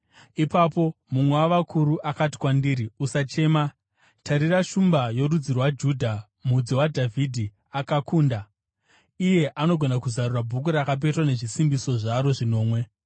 Ipapo mumwe wavakuru akati kwandiri, “Usachema! Tarira, Shumba yorudzi rwaJudha, Mudzi waDhavhidhi, akakunda. Iye anogona kuzarura bhuku rakapetwa nezvisimbiso zvaro zvinomwe.”